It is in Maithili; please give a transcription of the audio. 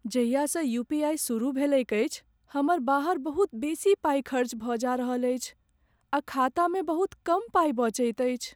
जहियासँ यूपीआई सुरुह भेलैक अछि, हमर बाहर बहुत बेसी पाई खर्च भऽ जा रहल अछि आ खातामे बहुत कम पाइ बचैत अछि।